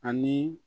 Ani